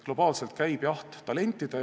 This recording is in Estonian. Globaalselt käib jaht talentidele.